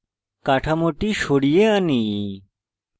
কাঠামোটি সরিয়ে আনি